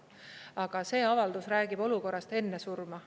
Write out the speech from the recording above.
Aga see avaldus räägib olukorrast enne surma.